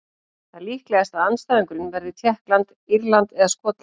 Það er líklegast að andstæðingurinn verði Tékkland, Írland eða Skotland.